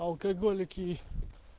алкоголики